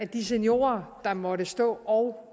de seniorer der måtte stå og